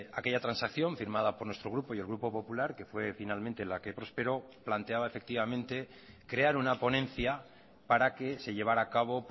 aquella transacción firmada por nuestro grupo y el grupo popular que fue finalmente la que prosperó planteaba efectivamente crear una ponencia para que se llevara a cabo